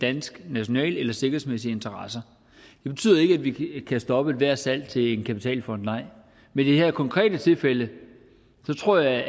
danske nationale eller sikkerhedsmæssige interesser det betyder ikke at vi kan stoppe ethvert salg til en kapitalfond nej men i det her konkrete tilfælde tror jeg